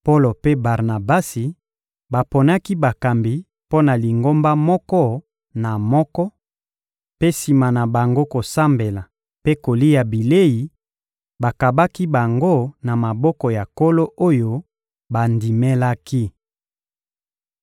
Polo mpe Barnabasi baponaki bakambi mpo na Lingomba moko na moko mpe, sima na bango kosambela mpe kokila bilei, bakabaki bango na maboko ya Nkolo oyo bandimelaki.